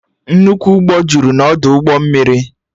Nnukwu ụgbọ jụrụ n'ọdụ ụgbọ mmiri